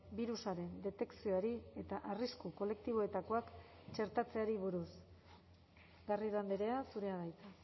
birusaren detekzioari eta arrisku kolektiboetakoak txertatzeari buruz garrido andrea zurea da hitza